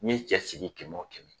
Nin ye cɛ sigi kɛmɛ o kɛmɛ